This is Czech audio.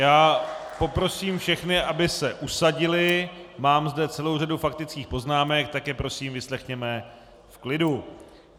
Já poprosím všechny, aby se usadili, mám zde celou řadu faktických poznámek, tak je prosím vyslechněme v klidu.